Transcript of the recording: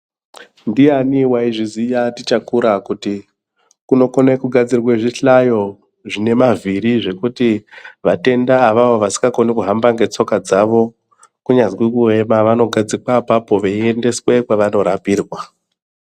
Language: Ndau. Ndiyani waizviziya tichakura kuti kunokone kugadzirwe zvihlayo zvinemavhiri zvekuti vatenda avavo vasikakoni kuhamba ngetsoka dzavo kunyazi kuema vanogadzikwa apapo veiendeswe kwavanorapirwa.